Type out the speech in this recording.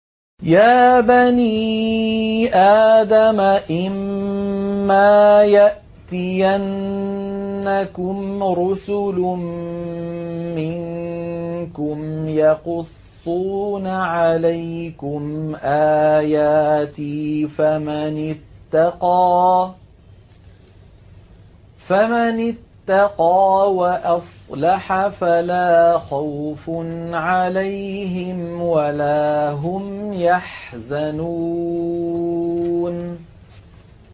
يَا بَنِي آدَمَ إِمَّا يَأْتِيَنَّكُمْ رُسُلٌ مِّنكُمْ يَقُصُّونَ عَلَيْكُمْ آيَاتِي ۙ فَمَنِ اتَّقَىٰ وَأَصْلَحَ فَلَا خَوْفٌ عَلَيْهِمْ وَلَا هُمْ يَحْزَنُونَ